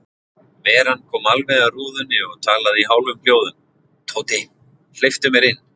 Veran kom alveg að rúðunni og talaði í hálfum hljóðum: Tóti, hleyptu mér inn.